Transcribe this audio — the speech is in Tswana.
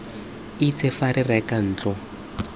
itse fa re reka ntlo